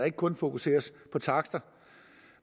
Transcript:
ikke kun fokuseres på takster